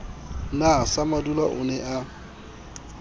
na samadula o ne a